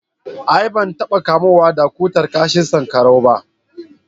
a'a ban taba kamuwa da cutar kashin sankarau ba